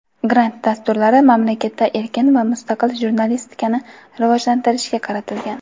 grant dasturlari mamlakatda erkin va mustaqil jurnalistikani rivojlantirishga qaratilgan.